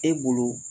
E bolo